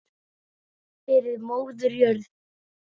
Fyrir móður jörð.